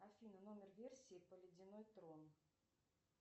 афина номер версии про ледяной трон